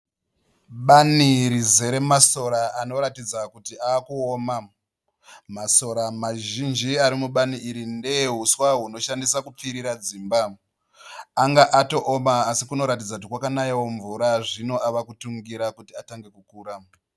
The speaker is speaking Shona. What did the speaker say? Bani rizere masora anoratidza kuti ava kuoma. Masora mazhinji arimubani iri ndeehuswa hunoshandiswa kupfirira dzimba. Anga atooma asi kunoratidza kuti kwakanayawo mvura zvino avakutungira kuti atange kukura.